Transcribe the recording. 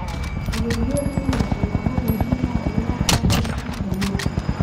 Adeegyadani waa tallaabo muhiim ah oo loo qaaday dhanka horumarka.